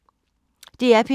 DR P3